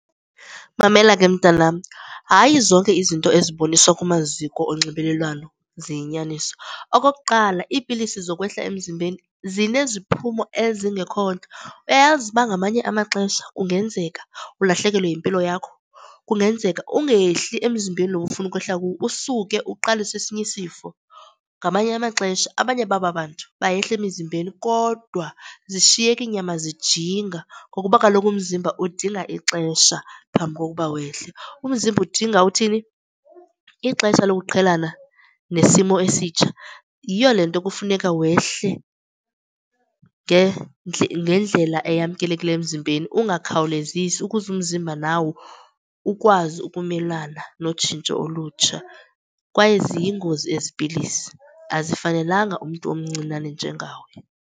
Mamela ke, mntanam, hayi zonke izinto eziboniswa kumaziko onxibelelwano ziyinyaniso. Okokuqala, iipilisi zokwehla emzimbeni zineziphumo ezingekho ntle. Uyayazi uba ngamanye amaxesha kungenzeka ulahlekelwe yimpilo yakho kungenzeka ungehli emzimbeni lo ufuna ukwehla kuwo usuke uqalise esinye isifo. Ngamanye amaxesha abanye baba bantu bayehla emizimbeni kodwa zishiyeka iinyama zijinga ngokuba kaloku umzimba udinga ixesha phambi kokuba wehle. Umzimba udinga uthini, ixesha lokuqhelana nesimo esitsha. Yiyo le nto kufuneka wehle ngendlela eyamkelekileyo emzimbeni, ungakhawulezisi ukuze umzimba nawo ukwazi ukumelana notshintsho olutsha, kwaye ziyingozi ezi pilisi. Azifanelanga umntu omncinane njengawe.